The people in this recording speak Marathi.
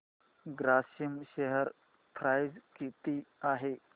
ग्रासिम शेअर प्राइस किती आहे